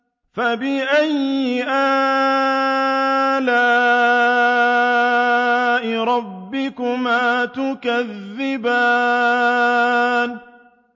فَبِأَيِّ آلَاءِ رَبِّكُمَا تُكَذِّبَانِ